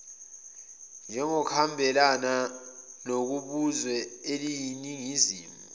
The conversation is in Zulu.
njengokuhambelana nokubuzwe eliyiningizimu